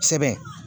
Sɛbɛn